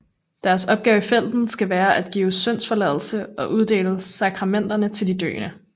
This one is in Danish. Deres opgave i felten skal være at give syndsforladelse og uddele sakramenter til de døende